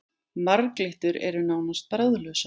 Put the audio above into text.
Marglyttur eru nánast bragðlausar.